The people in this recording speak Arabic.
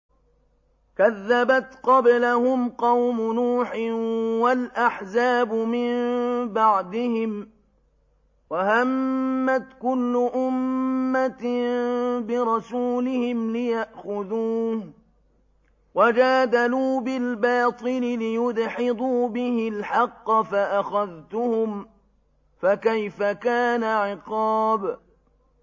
كَذَّبَتْ قَبْلَهُمْ قَوْمُ نُوحٍ وَالْأَحْزَابُ مِن بَعْدِهِمْ ۖ وَهَمَّتْ كُلُّ أُمَّةٍ بِرَسُولِهِمْ لِيَأْخُذُوهُ ۖ وَجَادَلُوا بِالْبَاطِلِ لِيُدْحِضُوا بِهِ الْحَقَّ فَأَخَذْتُهُمْ ۖ فَكَيْفَ كَانَ عِقَابِ